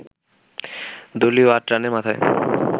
দলীয় আট রানের মাথায়